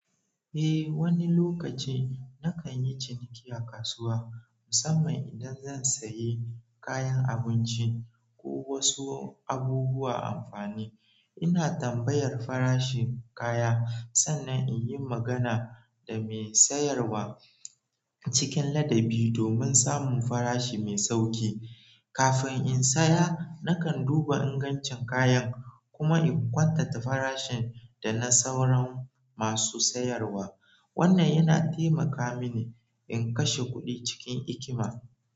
Eh, wani lokaci na kan yi ciniki a kasuwa musamman idan zan sayi kayan abinci ko wasu abubuwa amfani. Ina tambayar farashin kaya sannan in yi magana da mai sayarwa cikin ladabi domin samun farashi mai sauƙi. Kafin in saya na kan duna ingancin kayan, kuma in kwatanta farashin da na sauran masu sayarwa. Wannan yana taimaka mini in kashe kuɗi cikin hikima.